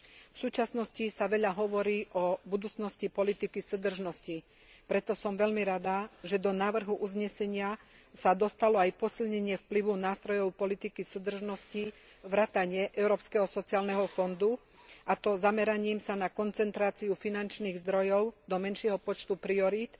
V súčasnosti sa veľa hovorí o budúcnosti politiky súdržnosti. Preto som veľmi rada, že do návrhu uznesenia sa dostalo aj posilnenie vplyvu nástrojov politiky súdržnosti vrátane Európskeho sociálneho fondu, a to zameraním sa na koncentráciu finančných zdrojov do menšieho počtu priorít,